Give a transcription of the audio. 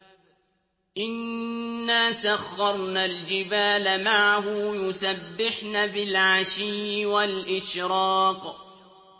إِنَّا سَخَّرْنَا الْجِبَالَ مَعَهُ يُسَبِّحْنَ بِالْعَشِيِّ وَالْإِشْرَاقِ